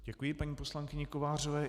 Děkuji paní poslankyni Kovářové.